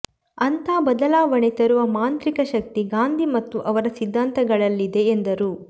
ಅಂಥ ಬದಲಾವಣೆ ತರುವ ಮಾಂತ್ರಿಕ ಶಕ್ತಿ ಗಾಂಧಿ ಮತ್ತು ಅವರ ಸಿದ್ಧಾಂತಗಳಲ್ಲಿದೆ ಎಂದರು